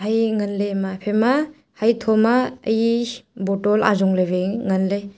e ngan le ema haphaI ma hatho ma e bottle ajong le waI ngan le.